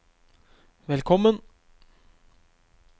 velkommen